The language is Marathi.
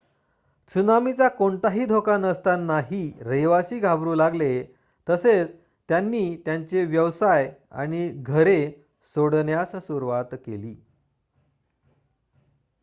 त्सुनामीचा कोणताही धोका नसतानाही रहिवासी घाबरू लागले तसेच त्यांनी त्यांचे व्यवसाय आणि घरे सोडण्यास सुरवात केली